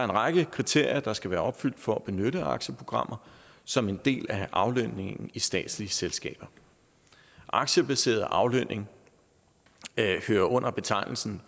række kriterier der skal være opfyldt for at benytte aktieprogrammer som en del af aflønningen i statslige selskaber aktiebaseret aflønning hører under betegnelsen